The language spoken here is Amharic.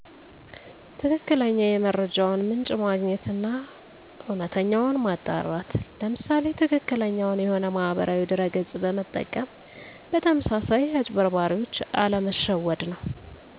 ትክክለኛ የመረጃውን ምንጭ ማግኘት አና እውነታውን ማጣራት ለምሳሌ ትክክለኛውን የሆነ ማህበራዊ ድረ ገፅ መጠቀም በተመሳሳይ አጭበርባሪዎች አለመሸወድ ነው